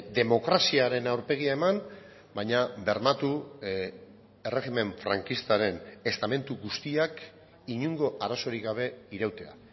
demokraziaren aurpegia eman baina bermatu erregimen frankistaren estamentu guztiak inongo arazorik gabe irautea